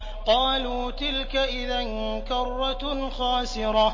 قَالُوا تِلْكَ إِذًا كَرَّةٌ خَاسِرَةٌ